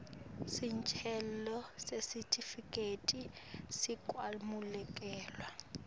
sicelo sesitifiketi sekwamukelwa